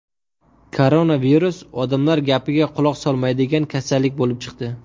Koronavirus ‘odamlar gapiga quloq solmaydigan’ kasallik bo‘lib chiqdi.